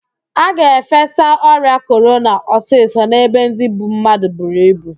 A ga-efesa ọrịa korona ọsịsọ n'ebe ndị mmadụ buru ibu